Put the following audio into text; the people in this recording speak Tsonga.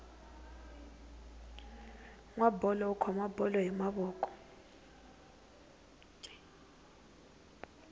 nwa tipala u khoma bolo hi mavoko